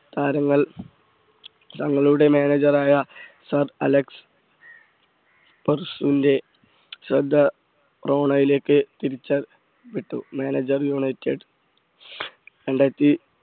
താരങ്ങൾ തങ്ങളുടെ manager ആയ സാർ അലക്സ് പെർസൂന്റെ ശ്രദ്ധ റോണയിലേക്ക് തിരിച്ച വിട്ടു manager യുണൈറ്റഡ് രണ്ടായിരത്തി